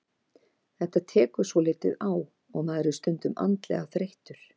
Þetta tekur svolítið á og maður er stundum andlega þreyttur.